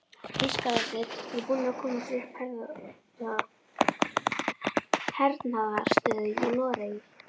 Þýskararnir voru búnir að koma sér upp hernaðaraðstöðu í Noregi.